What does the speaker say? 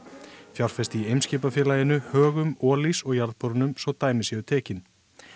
fjárfest í Eimskipafélaginu Högum Olís og jarðborunum svo dæmi séu tekin